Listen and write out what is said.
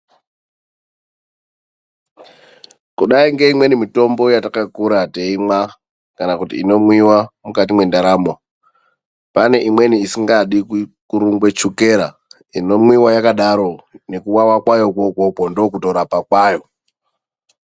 Kudai ngeimweni mitombo yatakakura teimwa kana kuti inomwiwa mukati mendaramo, pane imweni isingadi kurungwa chukera inomwiwa yakadaro nekuvava kwayoko ikoko ndokurapa kwayo .